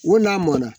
Ko n'a mɔnna